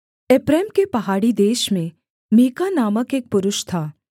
एप्रैम के पहाड़ी देश में मीका नामक एक पुरुष था